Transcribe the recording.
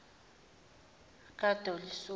kadelisoni